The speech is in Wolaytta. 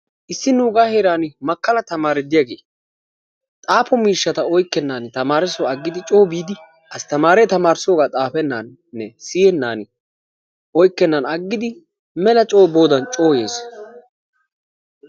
issi nuuga heeran makkala tamaare diyaage xaafo miishshata oykkenan tamaresso aggidi coo biidi asttamare tamaarissooga xaafenan, siyyenan, oykkenan aggidi melaa coo boodan coo yees.